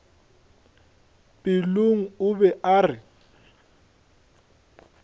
pelong o be a re